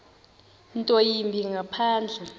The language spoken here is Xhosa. nto yimbi ngaphandle